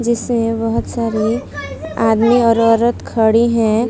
जिसमें बहोत सारे आदमी और औरत खड़ी हैं।